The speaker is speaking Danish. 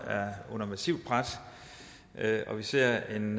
under massivt pres og vi ser en